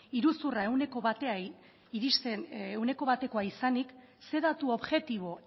iruzurra ehuneko batekoa izanik ze datu objektibo